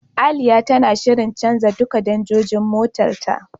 Aliya tana shirin canja duka danjojin motar ta.